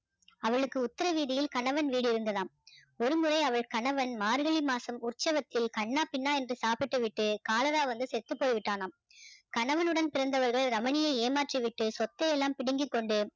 அவளுக்கு உத்தர வீதியில் கணவன் வீடு இருந்ததாம் ஒருமுறை அவள் கணவன் மார்கழி மாசம் உற்சவத்தில் கன்னா பின்னான்னு சாப்பிட்டுவிட்டு காலரா வந்து செத்து போய்விட்டானாம் கணவனுடன் பிறந்தவர்கள் ரமணியை ஏமாற்றி விட்டு சொத்தை எல்லாம் பிடுங்கி கொண்டு